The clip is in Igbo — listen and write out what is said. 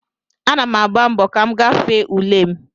Ana m agba mbọ ka m gafee ule m